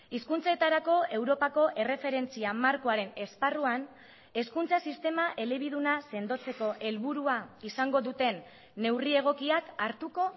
hizkuntzetarako europako erreferentzia markoaren esparruan hezkuntza sistema elebiduna sendotzeko helburua izango duten neurri egokiak hartuko